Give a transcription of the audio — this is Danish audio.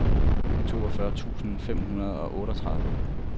toogfyrre tusind fem hundrede og otteogtredive